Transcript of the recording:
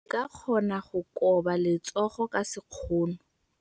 O ka kgona go koba letsogo ka sekgono.